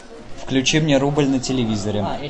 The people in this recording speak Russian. включи мне рубль на телевизоре